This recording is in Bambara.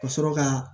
Ka sɔrɔ ka